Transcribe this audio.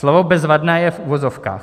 Slovo bezvadné je v uvozovkách.